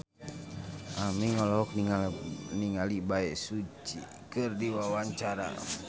Aming olohok ningali Bae Su Ji keur diwawancara